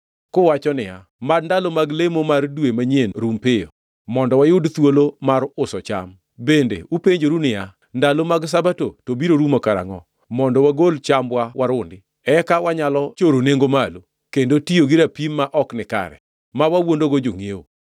kuwacho niya, “Mad ndalo mag lemo mar dwe manyien rum piyo, mondo wayud thuolo mar uso cham.” Bende upenjoru niya, “Ndalo mag Sabato to biro rumo karangʼo mondo wagol chambwa warundi, eka wanyalo choro nengo malo, kendo tiyo gi rapim ma ok nikare, ma wawuondogo jongʼiewo!